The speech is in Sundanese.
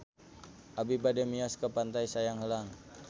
Abi bade mios ka Pantai Sayang Heulang